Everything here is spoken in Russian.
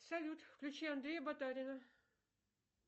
салют включи андрея батарина